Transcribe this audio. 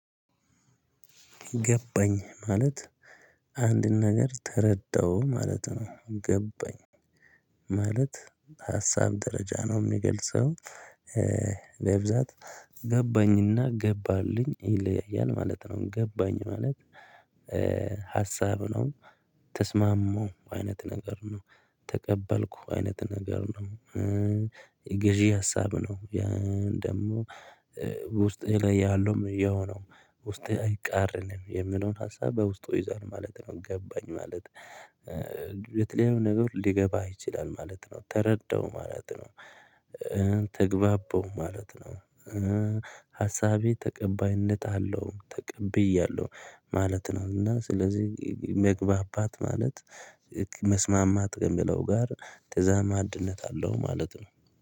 ገባኝ ማለት አንድን ነገር ተረዳሁ ማለት ነው። ገባኝ ማለት ሀሳብ ደረጃ ነው ሚገልጸው በብዛት ገባኝና ገባልኝ ይለያያል ማለት ነው። ገባኝ ማለት ሀሳብ ነው ተስማማሁ አይነት ነገር ነው፤ ተቀበልኩ አይነት ነገር ነው፤ የገዢ ሀሳብ ነው። ያ ደግሞ ውስጤ ላይ ያለውም ያው ነው፤ ውስጤ አይቃረንም የሚለውን ሀሳብ በውስጡ ይይዛል ማለት ነው። ገባኝ ማለት የተለያዩ ነገሮች ሊገባህ ይችላል ማለት ነው ተረዳሁ ማለት ነው። ተግባባሁ ማለት ነው፤ ሀሳቤ ተቀባይነት አለው ተቀብያለሁ ማለት ነው እና ስለዚህ መግባባት ማለት መስማማት ከሚለው ጋር ተዛማጅነት አለው ማለት ነው።